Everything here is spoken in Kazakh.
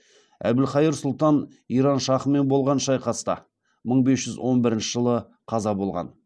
әбілқайыр сұлтан иран шахымен болған шайқаста мың бес жүз он бірінші жылы қаза болған